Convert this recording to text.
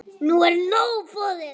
Okkur er nóg boðið